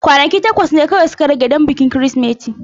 Kwanaki takwas ne kawai suka rage don bikin Kirsimeti.